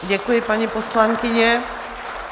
Děkuji, paní poslankyně.